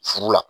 Furu la